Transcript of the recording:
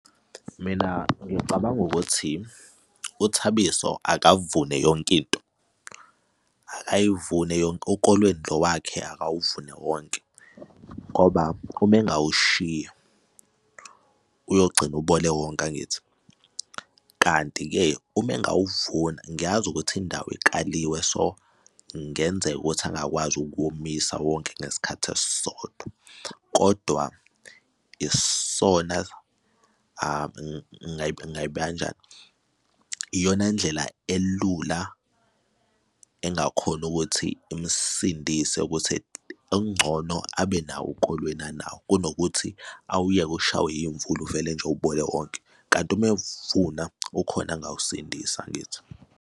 Mina ngicabanga ukuthi uThabiso akavune yonke into abayivune yonke ukolweni lo wakhe akawuvune wonke, ngoba uma engawushiya uyogcina ubole wonke, angithi? Kanti-ke uma engawuvuna, ngiyazi ukuthi indawo ikaliwe, so, kungenzeka ukuthi angakwazi ukuwomisa wonke ngesikhathi esisodwa. Kodwa isona ngingayibeka kanjani? Iyona ndlela elula engakhona ukuthi imsindise ukuthi okungcono abe nawo ukolweni nawo kunokuthi awuyeke ushawe iy'mvula uvele nje ubole wonke kanti uma ewuvuna ukhona angawusindisa, angithi?